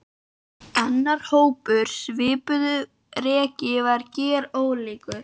Annar hópur á svipuðu reki var gerólíkur.